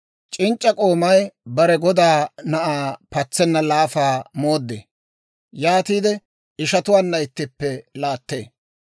C'inc'c'a k'oomay bare godaa na'aa patsenna laafaa mooddee; yaatiide ishatuwaanna ittippe laattee.